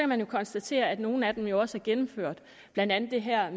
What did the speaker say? man konstatere at nogle af dem jo også er gennemført blandt andet det her